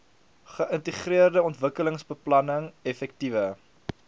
geïntegreerde ontwikkelingsbeplanning effektiewe